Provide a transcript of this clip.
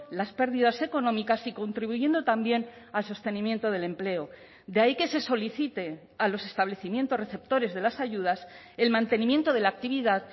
las pérdidas económicas y contribuyendo también al sostenimiento del empleo de ahí que se solicite a los establecimientos receptores de las ayudas el mantenimiento de la actividad